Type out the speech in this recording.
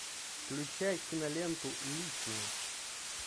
включай киноленту личное